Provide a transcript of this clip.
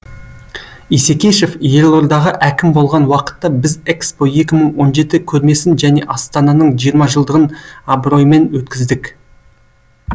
исекешев елордаға әкім болған уақытта біз экспо екі мың он жеті көрмесін және астананың жиырма жылдығын абыроймен өткіздік